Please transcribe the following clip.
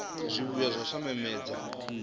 zwivhuya zwa u sa namedza